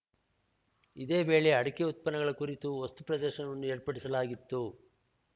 ಇದೇ ವೇಳೆ ಅಡಕೆ ಉತ್ಪನ್ನಗಳ ಕುರಿತು ವಸ್ತುಪ್ರದರ್ಶನವನ್ನು ಏರ್ಪಡಿಸಲಾಗಿತ್ತು